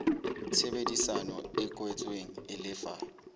tshebedisano e kwetsweng e lefa